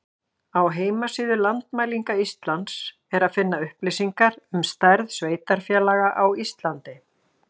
Á heimasíðu Landmælinga Íslands er að finna upplýsingar um stærð sveitarfélaga á Íslandi.